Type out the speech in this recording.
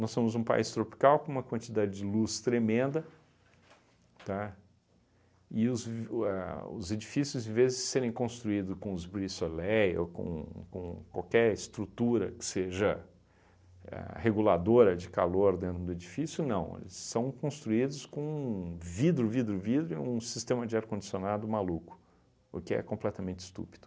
Nós somos um país tropical com uma quantidade de luz tremenda, tá, e os vi ahn os edifícios em vez de serem construídos com os brise soleil ou com com qualquer estrutura que seja a reguladora de calor dentro do edifício, não, eles são construídos com vidro, vidro, vidro e um sistema de ar condicionado maluco, o que é completamente estúpido.